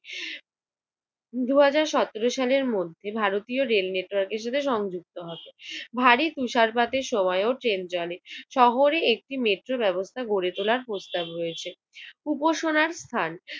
দু হাজার সতেরো সালের মধ্যে ভারতীয় রেল নেটওয়ার্কের সাথে সংযুক্ত হবে। ভারী তুষারপাতের সময়ও ট্রেন চলে। শহরে একটি মেট্রো ব্যবস্থা গড়ে তোলার প্রস্তাব হয়েছে। উপসনার স্থান!